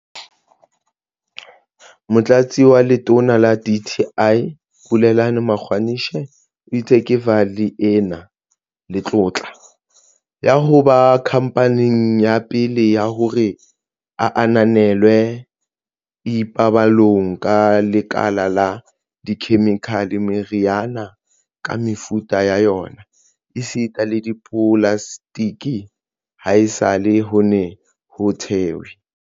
Motlatsi wa Letona la dti, Bulelani Magwanishe, o itse Kevali e na le tlotla ya ho ba khamphane ya pele ya hore e ananelwe e ipabolang ka lekala la dikhemikhale, meriana ka mefuta ya yona esita le dipolaseteke, haesale ho ne ho thehwe